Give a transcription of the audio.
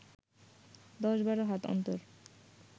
দশ বারো হাত অন্তর